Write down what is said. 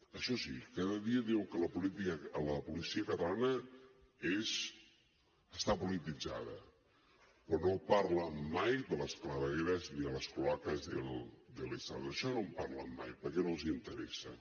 això sí cada dia diuen que la policia catalana està polititzada però no parlen mai de les clavegueres ni de las cloacas del estado d’això no en parlen mai perquè no els interessa